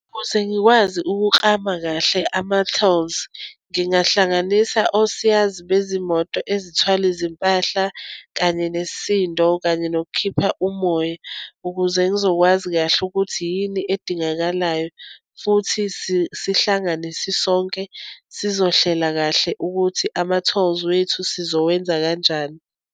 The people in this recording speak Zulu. Ukuze ngikwazi ukuklama kahle ama-tolls, ngingahlanganisa osiyazi bezimoto ezithwala izimpahla, kanye nesisindo, kanye nokukhipha umoya. Ukuze ngizokwazi kahle ukuthi yini edingakalayo, futhi sihlangane sisonke, sizohlela kahle ukuthi ama-tolls wethu sizowenza kanjani.